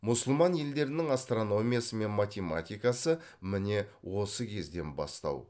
мұсылман елдерінің астрономиясы мен математикасы міне осы кезден бастау